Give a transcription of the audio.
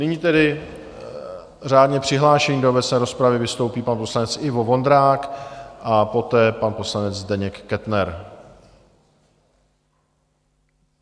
Nyní tedy řádně přihlášený do obecné rozpravy vystoupí pan poslanec Ivo Vondrák a poté pan poslanec Zdeněk Kettner.